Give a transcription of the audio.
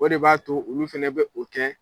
O de b'a to olu fɛnɛ bɛ u kɛ